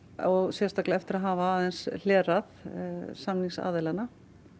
sérstaklega eftir að hafa aðeins hlerað samningsaðilana